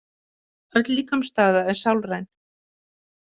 Öll líkamsstaða er sálræn.